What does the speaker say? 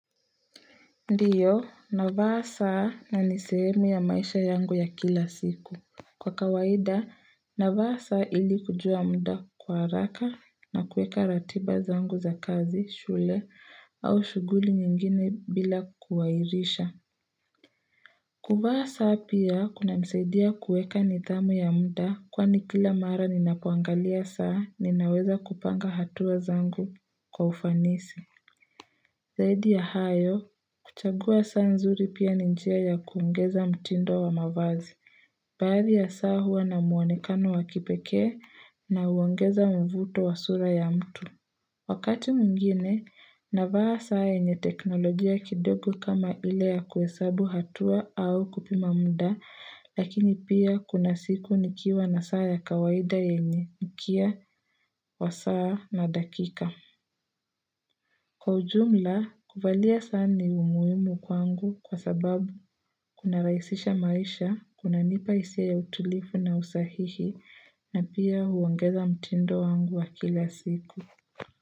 Ndio, navaa saa na ni sehemu ya maisha yangu ya kila siku. Kwa kawaida, navaa saa ili kujua muda kwa haraka na kuweka ratiba zangu za kazi, shule au shughuli nyingine bila kuhairisha. Kuvaa saa pia kunanisaidia kuweka nidhamu ya muda kwani kila mara ninapoangalia saa ninaweza kupanga hatua zangu kwa ufanisi. Zaidi ya hayo, kuchagua saa nzuri pia ni njia ya kuongeza mtindo wa mavazi. Baadhi ya saa huwa na mwonekano wa kipekee na huongeza mvuto wa sura ya mtu. Wakati mwingine, navaa saa yenye teknolojia kidogo kama ile ya kuhesabu hatua au kupima muda, lakini pia kuna siku nikiwa na saa ya kawaida yenye, mkia, wa saa na dakika. Kwa ujumla, kuvalia saa ni muhimu kwangu kwa sababu kunarahisisha maisha, kunanipa hisia ya utulivu na usahihi na pia huongeza mtindo wangu wa kila siku.